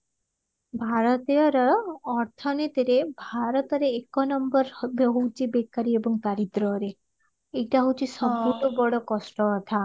ଭାରତୀୟର ଅର୍ଥନୀତିରେ ଭାରତରେ ଏକ number ଏବେ ହଉଚି ବେକରୀ ଏବଂ ଦାରିଦ୍ରରେ ଏଇଟା ହଉଚି ସବୁଠୁ ବଡ କଷ୍ଟ କଥା